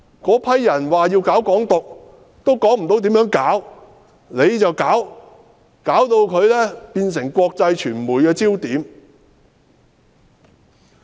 那些人說要搞"港獨"，也說不出要如何具體行動，政府卻把他們變成國際傳媒焦點。